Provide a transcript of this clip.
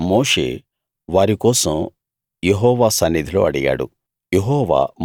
అప్పుడు మోషే వారి కోసం యెహోవా సన్నిధిలో అడిగాడు